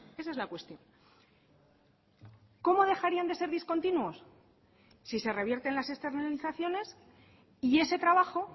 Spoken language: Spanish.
esa es la cuestión cómo dejarían de ser discontinuos si se revierten las externalizaciones y ese trabajo